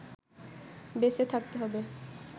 বেঁচে থাকতে হবে